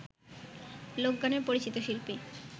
লোকগানের পরিচিত শিল্পী